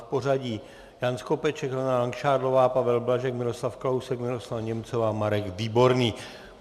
V pořadí Jan Skopeček, Helena Langšádlová, Pavel Blažek, Miroslav Kalousek, Miroslava Němcová, Marek Výborný.